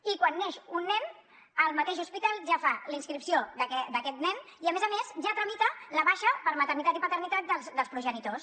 i quan neix un nen el mateix hospital ja fa la inscripció d’aquest nen i a més a més ja tramita la baixa per maternitat i paternitat dels progenitors